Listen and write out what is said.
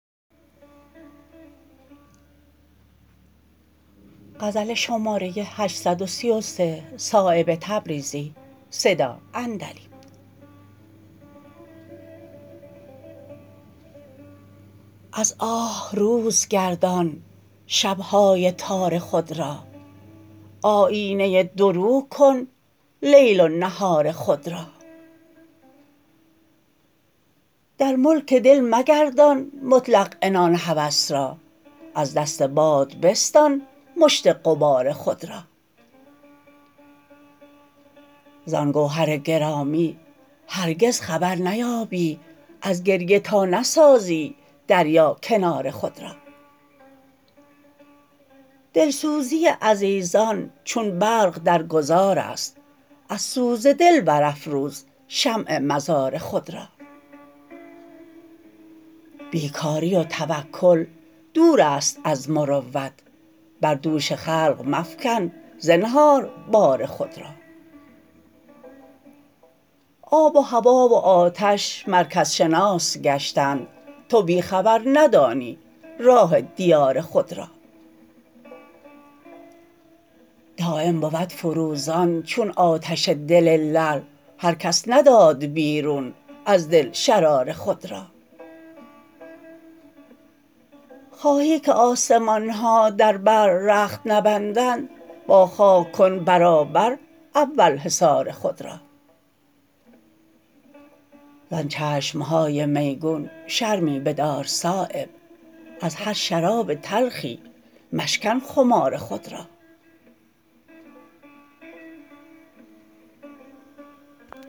از آه روز گردان شبهای تار خود را آیینه دو رو کن لیل و نهار خود را در ملک دل مگردان مطلق عنان هوس را از دست باد بستان مشت غبار خود را زان گوهر گرامی هرگز خبر نیابی از گریه تا نسازی دریا کنار خود را دلسوزی عزیزان چون برق در گذارست از سوز دل برافروز شمع مزار خود را بیکاری و توکل دورست از مروت بر دوش خلق مفکن زنهار بار خود را آب و هوا و آتش مرکز شناس گشتند تو بی خبر ندانی راه دیار خود را دایم بود فروزان چون آتش دل لعل هر کس نداد بیرون از دل شرار خود را خواهی که آسمان ها در بر رخت نبندند با خاک کن برابر اول حصار خود را زان چشم های میگون شرمی بدار صایب از هر شراب تلخی مشکن خمار خود را